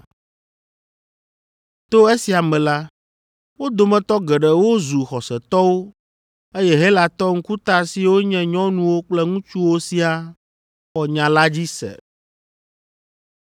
To esia me la, wo dometɔ geɖewo zu xɔsetɔwo eye Helatɔ ŋkuta siwo nye nyɔnuwo kple ŋutsuwo siaa xɔ nya la dzi se.